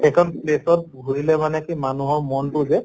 এইকন place ত ঘুৰিলে মানে কি মানুহৰ মনতো যে